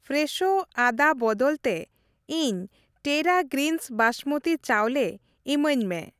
ᱯᱷᱨᱮᱥᱳ ᱟᱫᱟ ᱵᱚᱫᱚᱞ ᱛᱮ, ᱤᱧ ᱴᱮᱨᱟ ᱜᱨᱤᱱᱥ ᱵᱟᱥᱢᱚᱛᱤ ᱪᱟᱣᱞᱮ ᱤᱢᱟᱹᱧ ᱢᱮ ᱾